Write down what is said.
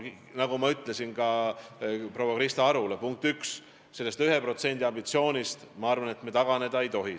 Nagu ma ütlesin ka proua Krista Arule, punkt üks, sellest 1% ambitsioonist, ma arvan, me taganeda ei tohi.